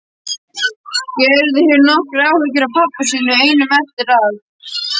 Gerður hefur nokkrar áhyggjur af pabba sínum einum eftir að